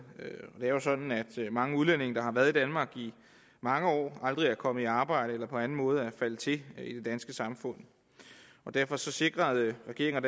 det er jo sådan at mange udlændinge der har været i danmark i mange år aldrig er kommet i arbejde eller på anden måde er faldet til i det danske samfund derfor sikrede regeringen